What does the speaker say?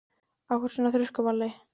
Af hverju ertu svona þrjóskur, Valka?